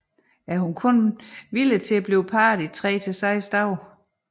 En hun er kun parringsvillig i tre til seks dage